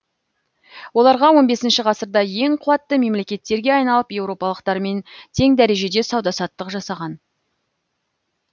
оларға он бесінші ғасырда ең қуатты мемлекеттерге айналып еуропалықтармен тең дәрежеде сауда саттық жасаған